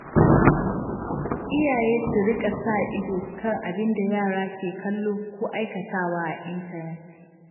Iyaye su rika sa ido kan abin da yara ke kallo ko aikatawa a intanet.